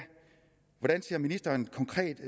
hvordan ser ministeren konkret